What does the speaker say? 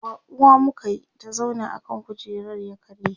baƙuwa muka Yi ta zauna akan kujerar ya karye